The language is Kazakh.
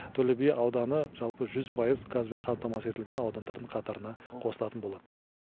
төлеби ауданы жалпы жүз пайыз газбен қамтамасыз етілген аудандардың қатарына қосылатын болады